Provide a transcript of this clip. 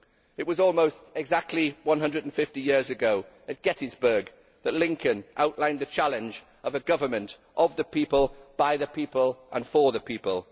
It was almost exactly 150 years ago at Gettysburg that Lincoln outlined the challenge of a government of the people, by the people and for the people.